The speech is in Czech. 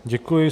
Děkuji.